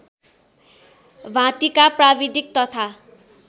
भाँतीका प्राविधिक तथा